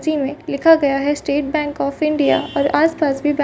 में लिखा गया है स्टेट बैंक ऑफ इंडिया और आसपास भी --